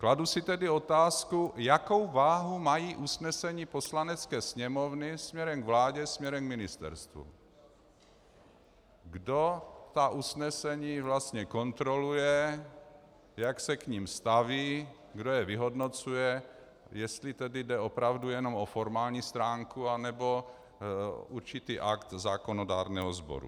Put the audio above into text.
Kladu si tedy otázku, jakou váhu mají usnesení Poslanecké sněmovny směrem k vládě, směrem k ministerstvům, kdo ta usnesení vlastně kontroluje, jak se k nim staví, kdo je vyhodnocuje, jestli tedy jde opravdu jenom o formální stránku, nebo určitý akt zákonodárného sboru.